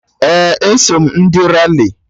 Ee, eso m ndị Rali